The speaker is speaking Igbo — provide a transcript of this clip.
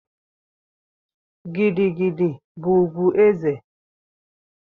Gidi gidi bụ ùgwù ezé.